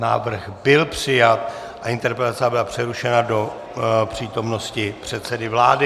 Návrh byl přijat a interpelace byla přerušena do přítomnosti předsedy vlády.